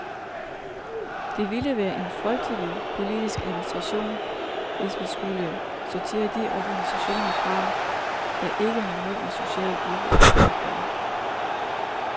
Det ville være en frygteligt politisk administration, hvis vi skulle sortere de organisationer fra, der ikke har noget med social udvikling at gøre.